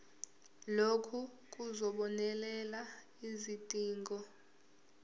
lokhu kuzobonelela izidingo